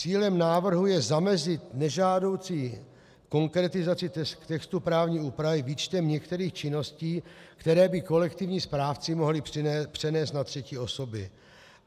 Cílem návrhu je zamezit nežádoucí konkretizaci textu právní úpravy výčtem některých činností, které by kolektivní správci mohli přenést na třetí osoby.